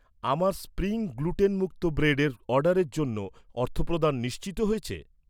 আমার স্প্রিং গ্লুটেনমুক্ত ব্রেডের অর্ডারের জন্য অর্থপ্রদান নিশ্চিত হয়েছে?